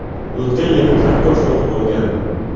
O‘tgan yili traktor sotib olgandim.